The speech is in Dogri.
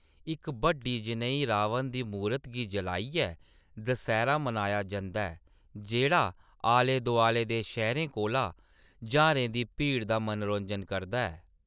इक बड्डी जनेही 'रावण दी मूरत' गी जलाइयै दसैह्‌‌रा मनाया जंदा ऐ, जेह्‌‌ड़ा आले-दुआले दे शैह्‌‌‌रें कोला ज्हारें दी भीड़ दा मनोरंजन करदा ऐ।